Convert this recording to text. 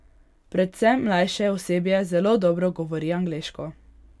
Predvsem mlajše osebje zelo dobro govori angleško.